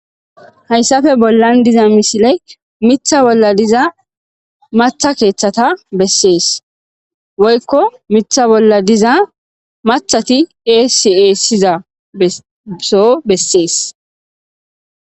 Hayssafe bollan diza misiley mitha bolla diza matha keeththata bessees woykko mitha bolla diza mathati esieessiza eso bessees.